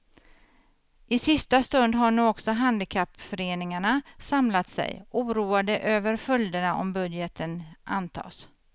I sista stund har nu också handikappföreningarna samlat sig, oroade över följderna om budgeten antas.